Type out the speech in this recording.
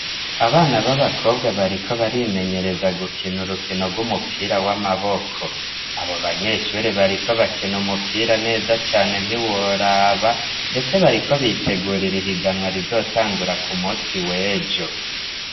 Abana b'abakobwa bariko barimenyereza gukina urukino rw'umupira w'amaboko abo banyeshuri bariko bakina umupira neza cane ntiworaba, ndetse bariko biteguri ra ihiganwa rizotangura ku musi wejo.